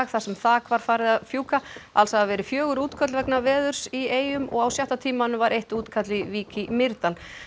þar sem þak var farið að fjúka alls hafa verið fimm útköll vegna veðurs í eyjum og á sjötta tímanum var eitt útkall í Vík í Mýrdal